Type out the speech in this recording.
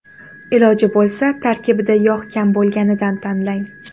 Iloji bo‘lsa tarkibida yog‘ kam bo‘lganidan tanlang.